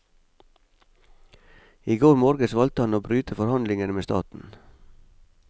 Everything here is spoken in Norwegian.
I går morges valgte han å bryte forhandlingene med staten.